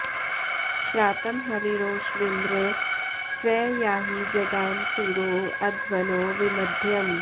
श्रातं हविरो ष्विन्द्र प्र याहि जगाम सूरो अध्वनो विमध्यम्